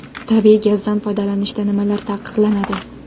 Tabiiy gazdan foydalanishda nimalar taqiqlanadi?